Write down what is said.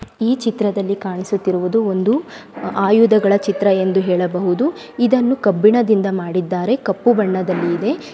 ಈ ಚಿತ್ರದಲ್ಲಿ ಕಾಣಿಸುತ್ತಿರುವುದು ಒಂದು ಆಯುಧಗಳ ಚಿತ್ರ ಎಂದು ಹೇಳಬಹುದು ಇದನ್ನು ಕಬ್ಬಿಣದಿಂದ ಮಾಡಿದ್ದಾರೆ ಕಪ್ಪು ಬಣ್ಣದಲ್ಲಿ ಇದೆ.